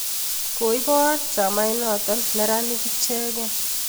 koibo chamainoto neranik ichekei